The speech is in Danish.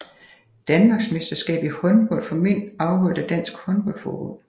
Danmarksmesterskab i håndbold for mænd afholdt af Dansk Håndbold Forbund